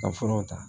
Ka furaw ta